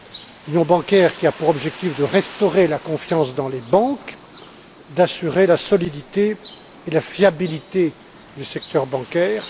Cette union bancaire a pour objectif de restaurer la confiance dans les banques et d'assurer la solidité et la fiabilité du secteur bancaire.